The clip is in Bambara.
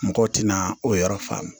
Mɔgɔw tɛna o yɔrɔ faamu